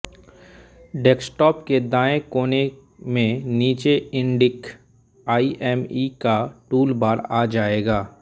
desktop के दायें कोने में नीचे इण्डिक आइऍमई का टूलबार आ जायेगा